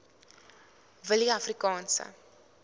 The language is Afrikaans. willieafrikaanse